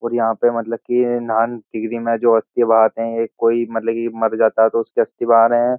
और यहाँ पे मतलब कि जो अस्थियाँ बहाते हैं कोई मतलब कि मर जाता है तो उसकी अस्थि बहा रहे हैं।